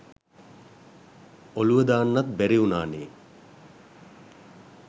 ඔලුව දාන්නත් බැරිඋනානේ